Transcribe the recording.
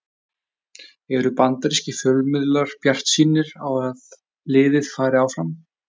Eru bandarískir fjölmiðlar bjartsýnir á að liðið fari áfram?